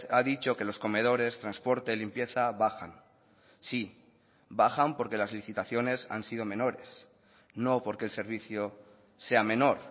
ha dicho que los comedores transporte limpieza bajan sí bajan porque las licitaciones han sido menores no porque el servicio sea menor